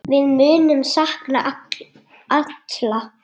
Við munum sakna Atla.